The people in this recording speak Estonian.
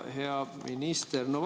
Hea minister!